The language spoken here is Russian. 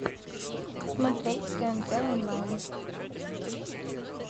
смотреть тнт онлайн